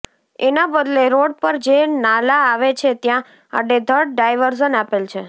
એના બદલે રોડ પર જે નાલા આવે છે ત્યા આડેધડ ડાઈવર્ઝન આપેલ છે